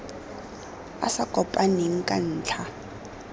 a sa kopaneng ka ntlha